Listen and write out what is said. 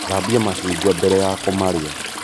Thambia macungwa mbere ya kūmarīa